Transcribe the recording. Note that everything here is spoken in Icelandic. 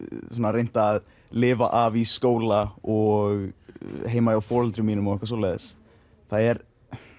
reynt að lifa af í skóla og heima hjá foreldrum mínum og svoleiðis það er